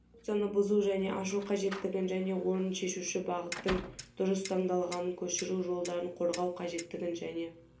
конструкцияны бұзу және ашу қажеттігін және орынын шешуші бағыттың дұрыс таңдалғанын көшіру жолдарын қорғау қажеттігін және